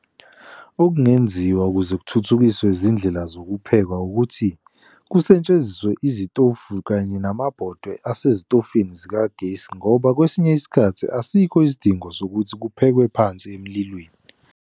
Okungenziwa ukuze kuthuthukiswe izindlela zokuphekwa, ukuthi kusetshenziswe izitofu kanye namabhodwe asezitofini zikagesi, ngoba kwesinye isikhathi asikho isidingo sokuthi kuphekwe phansi emlilweni.